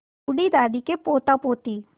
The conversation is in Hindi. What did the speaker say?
बूढ़ी दादी के पोतापोती